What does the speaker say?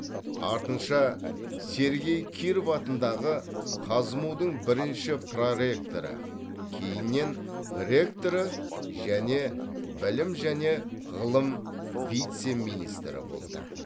артынша сергей киров атындағы қазму дың бірінші проректоры кейіннен ректоры және білім және ғылым вице министрі болды